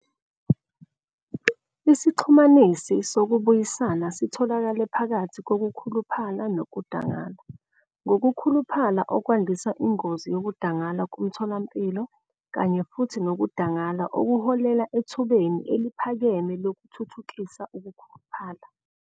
Isixhumanisi sokubuyisana sitholakale phakathi kokukhuluphala nokudangala, ngokukhuluphala okwandisa ingozi yokudangala komtholampilo kanye futhi nokudangala okuholela ethubeni eliphakeme lokuthuthukisa ukukhuluphala.